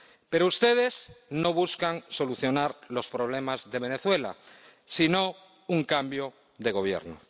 Pero ustedes no buscan solucionar los problemas de Venezuela, sino un cambio de gobierno.